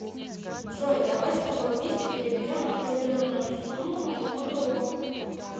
джой давай с тобой вместе переведем определенную сумму моему другу